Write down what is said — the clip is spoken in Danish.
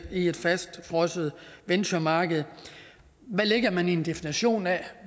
et fastfrosset venturemarked hvad lægger man i en definition af